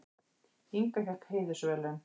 Inga fékk heiðursverðlaun